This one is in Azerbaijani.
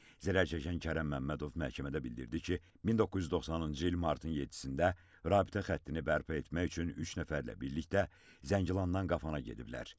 Zərər çəkən Kərəm Məmmədov məhkəmədə bildirdi ki, 1990-cı il martın 7-də rabitə xəttini bərpa etmək üçün üç nəfərlə birlikdə Zəngilandan Qafana gediblər.